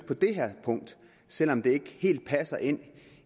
på det her punkt selv om det ikke helt passer ind